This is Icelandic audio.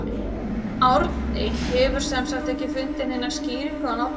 Árni hefur sem sagt ekki fundið neina skýringu á nafninu.